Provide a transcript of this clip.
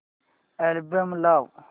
album लाव